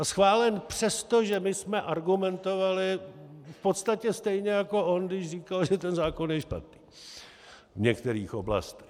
A schválen přesto, že my jsme argumentovali v podstatě stejně jako on, když říkal, že ten zákon je špatný, v některých oblastech.